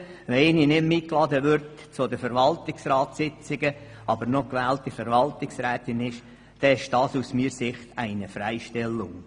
Wenn jemand zu Verwaltungsratssitzungen nicht mehr eingeladen wird, aber noch gewählte Verwaltungsrätin ist, ist das meines Erachtens eine Freistellung.